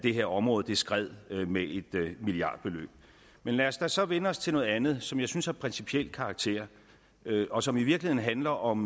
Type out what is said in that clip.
det her område skred med et milliardbeløb men lad os da så vende os til noget andet som jeg synes er af principiel karakter og som i virkeligheden handler om